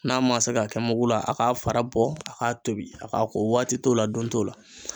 N'a ma se ka kɛ mugu la a ka fara bɔ a ka tobi a ka ko waati t'o la don t'o la.